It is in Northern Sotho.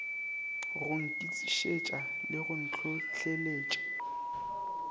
go nkišetša le go ntlhohleletša